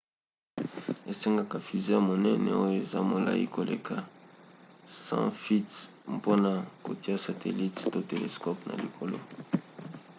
esengaka fusée ya monene oyo eza molai koleka 100 feet mpona kotia satelite to telescope na likolo